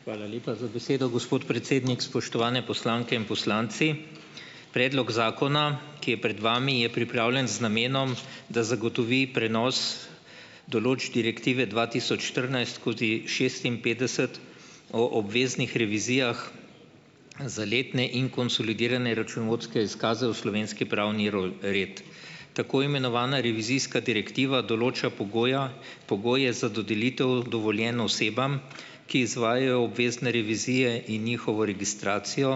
Hvala lepa za besedo, gospod predsednik. Spoštovane poslanke in poslanci! Predlog zakona, ki je pred vami, je pripravljen z namenom, da zagotovi prenos določb direktive dva tisoč štirinajst skozi šestinpetdeset o obveznih revizijah za letne in konsolidirane računovodske izkaze v slovenski pravni roj red. Tako imenovana revizijska direktiva določa pogoja pogoje za dodelitev dovoljenj osebam, ki izvajajo obvezne revizije in njihovo registracijo,